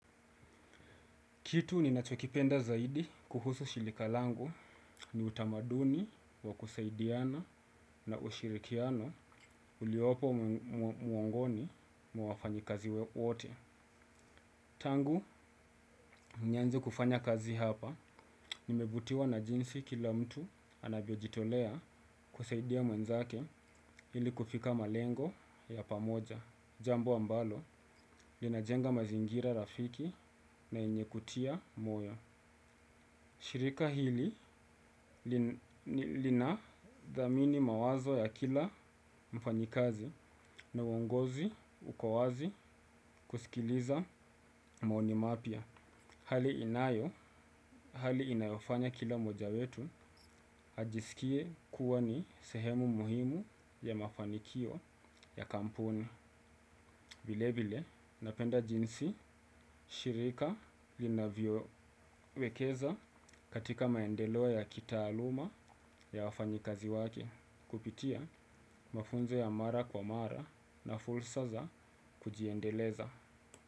Kitu ninachokipenda zaidi kuhusu shirika langu ni utamaduni wa kusaidiana, na ushirikiano uliopo miongoni mwa wafanyikazi wote. Tangu, nianze kufanya kazi hapa, nimevutiwa na jinsi kila mtu anavyojitolea kusaidia mwenzake, ili kufika malengo ya pamoja. Jambo ambalo, linajenga mazingira rafiki na yenye kutia moyo. Shirika hili linathamini mawazo ya kila mfanyikazi, na uongozi wa wazi kusikiliza maoni mapya. Hali inayo, hali inayofanya kila mmoja wetu, ajisikie kuwa ni sehemu muhimu ya mafanikio ya kampuni. Vile vile, napenda jinsi shirika linavyowekeza katika maendeleo ya kitaaluma, ya wafanyikazi wake kupitia mafunzo ya mara kwa mara na fursa za kujiendeleza.